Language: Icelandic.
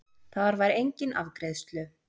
Þar var enginn afgreiðslu